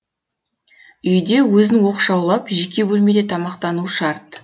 үйде өзін оқшаулап жеке бөлмеде тамақтану шарт